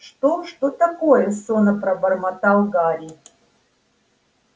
что что такое сонно пробормотал гарри